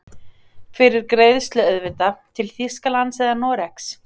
Fyrir greiðslu auðvitað, til Þýskalands eða Noregs?